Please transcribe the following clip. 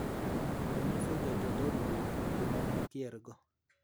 ,” nonyiso Jatend od bura kama ne okiergo.